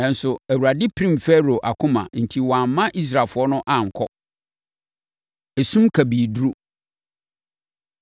Nanso, Awurade pirim Farao akoma enti wamma Israelfoɔ no ankɔ. Esum Kabii Duru